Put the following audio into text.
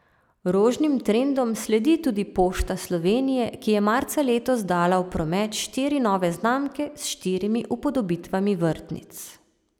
Rožnim trendom sledi tudi Pošta Slovenije, ki je marca letos dala v promet štiri nove znamke s štirimi upodobitvami vrtnic.